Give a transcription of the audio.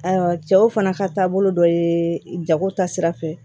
Ayiwa cɛw fana ka taabolo dɔ ye jago ta sira fɛ